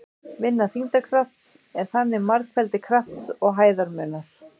Vinna þyngdarkrafts er þannig margfeldi krafts og hæðarmunar.